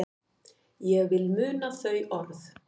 Ég vil muna þau orð.